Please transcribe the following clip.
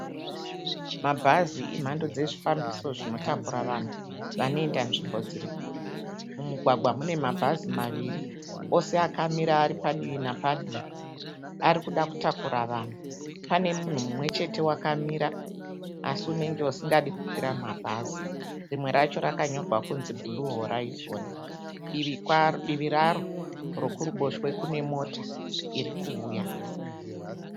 Mabhazi emhando dzezvifambiso zvinotakura vanhu vanoenda nzvimbo dziri kure. Mumugwagwa mune mabhazi maviri ose akamira ari padivi napadivi. Ari kuda kutakura vanhu. Pane munhu mumwechete wakamira asi unenge usingadi kukwira mabhazi. Rimwe racho rakanyorwa kunzi bhuruu horaizoni. Divi raro rekuruboshwe kune mota iri kuuya.